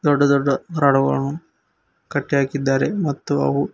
ದೊಡ್ಡ ದೊಡ್ಡ ರಾಡುಗಳು ಕಟ್ಟೆಹಾಕಿದ್ದಾರೆ ಮತ್ತು ಅವು--